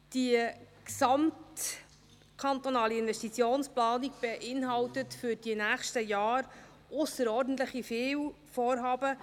Die gesamtkantonale Investitionsplanung beinhaltet für die nächsten Jahre ausserordentlich viele Vorhaben.